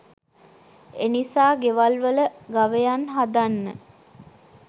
එනිසා ගෙවල් වල ගවයන් හදන්න